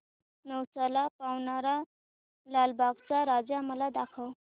नवसाला पावणारा लालबागचा राजा मला दाखव